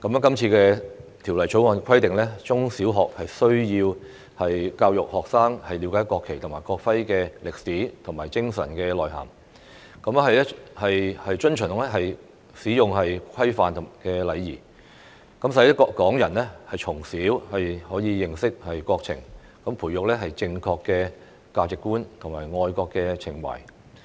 今次《條例草案》規定，中小學須教育學生了解國旗及國徽的歷史和精神內涵，遵循其使用規範及禮儀，使港人從小可以認識國情，培育正確的價值觀和愛國情懷。